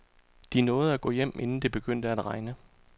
De nåede at gå hjem inden det begyndte at regne.